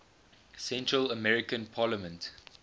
central american parliament